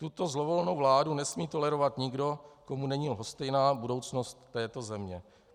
Tuto zlovolnou vládu nesmí tolerovat nikdo, komu není lhostejná budoucnost této země.